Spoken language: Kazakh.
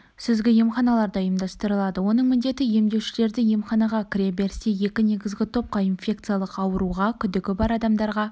сүзгі емханаларда ұйымдастырылады оның міндеті емделушілерді емханаға кіреберісте екі негізгі топқа инфекциялық ауруға күдігі бар адамдарға